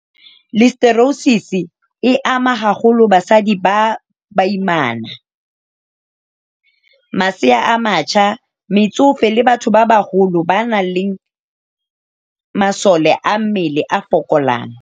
Listeriosis e ama haholo basadi ba baimana, masea a matjha, metsofe le batho ba baholo ba nang le masole a mmele a fokolang